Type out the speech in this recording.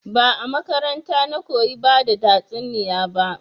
Ba a makaranta na koyi bada tatsuniya ba